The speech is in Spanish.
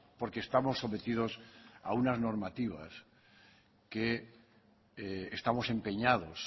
porque estamos sometidos a unas normativas que estamos empeñados